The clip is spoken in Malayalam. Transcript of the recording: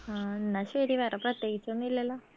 ആ എന്ന ശരി വേറെ പ്രത്യേകിച്ച് ഒന്നുല്ലല്ലോ